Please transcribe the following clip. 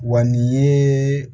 Wa nin ye